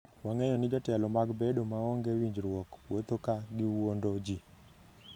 Wang'eyo ni jotelo mag bedo maonge winjruok wuotho ​​ka giwuondo ji